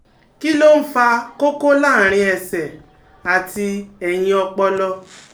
Kí ló ń fa koko láàárín ẹsẹ̀ àti ẹ̀yìn ọpọlọ?